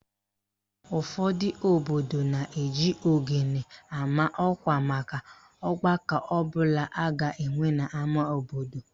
Ụfọdụ obodo na-eji ogene ama ọkwa maka ọgbakọ ọbụla a ga-enwe n'ama obodo